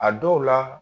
A dɔw la